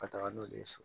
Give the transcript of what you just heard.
Ka taga n'olu ye so